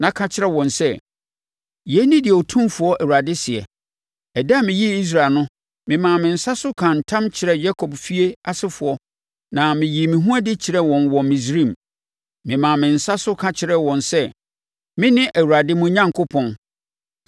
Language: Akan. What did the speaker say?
na ka kyerɛ wɔn sɛ: ‘Yei ne deɛ Otumfoɔ Awurade seɛ: Ɛda a meyii Israel no, memaa me nsa so kaa ntam kyerɛɛ Yakob efie asefoɔ na meyii me ho adi kyerɛɛ wɔn wɔ Misraim. Memaa me nsa so ka kyerɛɛ wɔn sɛ, “Mene Awurade, mo Onyankopɔn.”